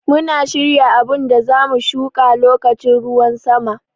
Muna shirya abun da za mu shuƙa loƙacin ruwan sama.